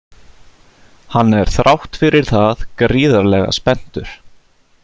Hann er þrátt fyrir það gríðarlega spenntur.